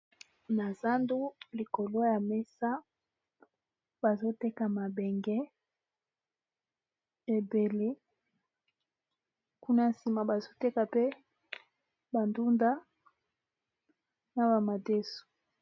na zandu likolo ya mesa bazoteka mabenge ebele kuna nsima bazoteka pe bandunda na bamadeso